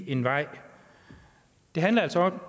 en vej det handler altså